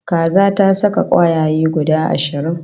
Kaza ta saka kwayaye guda ashirin